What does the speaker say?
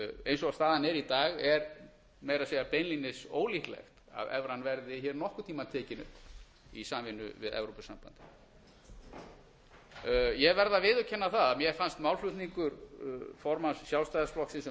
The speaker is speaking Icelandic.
eins og staðan er í dag er meira að segja beinlínis ólíklegt að evran verði hér nokkurn tímann tekin upp í samvinnu við evrópusambandið ég verð að viðurkenna það að mér fannst málflutningur formanns sjálfstæðisflokksins um